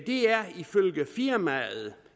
er ifølge firmaet